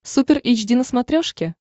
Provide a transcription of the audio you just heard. супер эйч ди на смотрешке